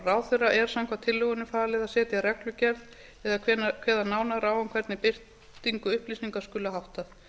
ráðherra er samkvæmt tillögunum falið að setja reglugerð eða kveða nánar á um hvernig birtingu upplýsinga skuli háttað